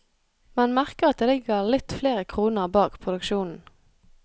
Man merker at det ligger litt flere kroner bak produksjonen.